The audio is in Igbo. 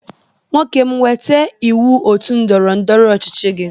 Nwoke m weta iwu otu ndọrọ ndọrọ ọchịchị gi!